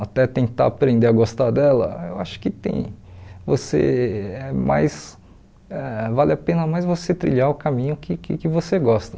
até tentar aprender a gostar dela, eu acho que tem você mais ãh vale a pena mais você trilhar o caminho que que que você gosta.